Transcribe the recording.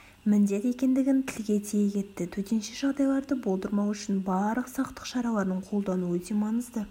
міндет екендігін тілге тие кетті төтенше жағдайларды болдырмау үшін барлық сақтық шараларын қолдану өте маңызды